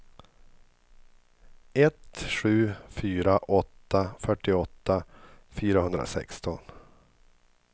ett sju fyra åtta fyrtioåtta fyrahundrasexton